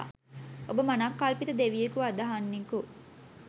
ඔබ මනංකල්පිත දෙවියෙකු අදහන්නෙකු